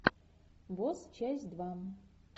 босс часть два